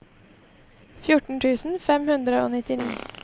fjorten tusen fem hundre og nittini